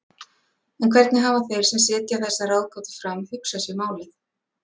En hvernig hafa þeir sem setja þessa ráðgátu fram hugsað sér málið?